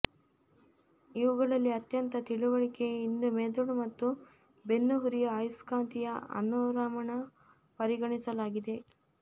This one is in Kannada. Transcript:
ಇವುಗಳಲ್ಲಿ ಅತ್ಯಂತ ತಿಳಿವಳಿಕೆ ಇಂದು ಮೆದುಳು ಮತ್ತು ಬೆನ್ನುಹುರಿಯ ಆಯಸ್ಕಾಂತೀಯ ಅನುರಣನ ಪರಿಗಣಿಸಲಾಗಿದೆ